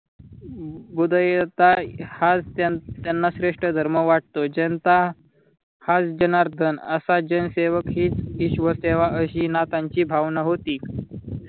उदयता हाच त्याना श्रेष्ठ धर्म वाटतोय. ज्यांचा जनता हाच जनार्दन असा जनसेवक हीच ईश्वर सेवा अशी नाथांची भावना होती.